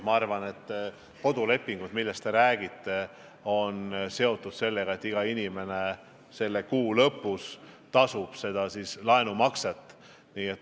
Ma arvan, et kodulaenu lepingud, millest te räägite, on seotud sellega, et iga inimene kuu lõpus tasub laenumakse.